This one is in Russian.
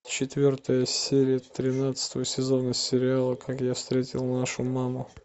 четвертая серия тринадцатого сезона сериала как я встретил вашу маму